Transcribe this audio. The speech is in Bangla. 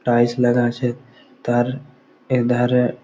টাইস লাগা আছে তার এক ধারে-এ।